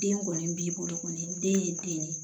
Den kɔni b'i bolo kɔni den ye den ye